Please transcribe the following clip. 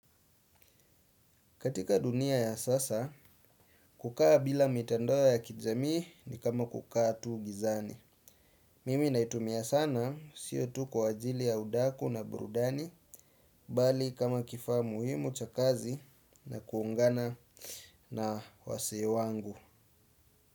Katika dunia ya sasa, kukaa bila mitandao ya kijamii ni kama kukaa tu gizani. Mimi naitumia sana, siyo tu kwa ajili ya udaku na burudani, bali kama kifaa muhimu cha kazi na kuungana na wasee wangu.